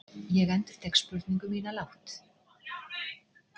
Ég endurtek spurningu mína lágt.